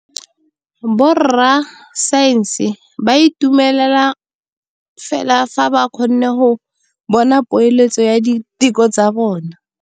Borra saense ba dumela fela fa ba kgonne go bona poeletsô ya diteko tsa bone.